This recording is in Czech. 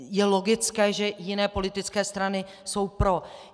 Je logické, že jiné politické strany jsou pro.